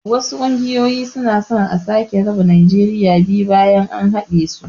wasu ƙungoyoyi suna so a sake raba najeriya biyu bayan an haɗesu